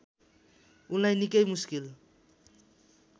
उनलाई निकै मुस्किल